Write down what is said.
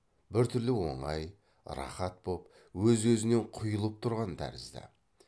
біртүрлі оңай рахат боп өз өзінен құйылып тұрған тәрізді